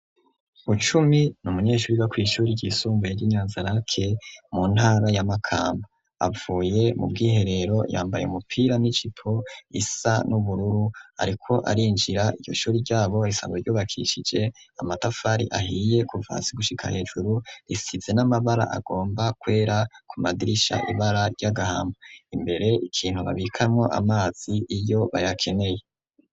Bucumi n'umunyeshuri wo kw'ishuri ryisumbuye ry'inyazarake mu ntara y'amakamba, avuye mu bwiherero yambaye umupira n'ijipo isa n'ubururu ariko arinjira, iryo shuri ryabo risazwe ryubakishije amatafari ahiye kuva hasi gushika hejuru, risize n'amabara agomba kwera ku madirisha, ibara ry'agahama imbere ikintu babikamwo amazi iyo bayakeneye.